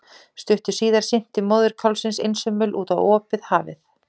Stuttu síðar synti móðir kálfsins einsömul út á opið hafið.